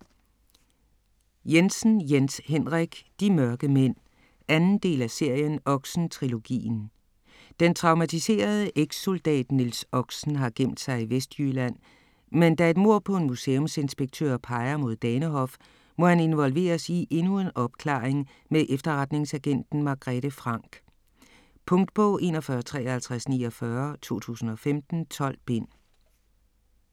Jensen, Jens Henrik: De mørke mænd 2. del af serien Oxen-trilogien. Den traumatiserede ekssoldat Niels Oxen har gemt sig i Vestjylland, men da et mord på en museumsinspektør peger mod Danehof, må han involveres i endnu en opklaring med efterretningsagenten Margrethe Franck. Punktbog 415349 2015. 12 bind.